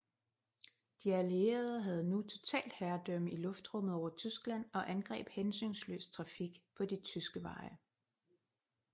De Allierede havde nu totalt herredømme i luftrummet over Tyskland og angreb hensynsløst trafik på de tyske veje